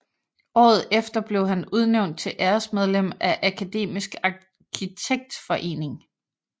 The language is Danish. Året efter blev han udnævnt til æresmedlem af Akademisk Arkitektforening